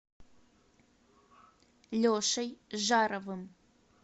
лешей жаровым